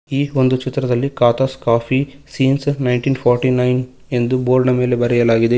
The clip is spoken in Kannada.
ಈ ಒಂದು ಚಿತ್ರದಲ್ಲಿ ಖಾತಾಸ್ coffee since nineteen forty nine ಎಂದು ಬೋರ್ಡನ ಮೇಲೆ ಬರೆಯಲಾಗಿದೆ.